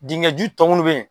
Dingɛju tɔ minnu bɛ yen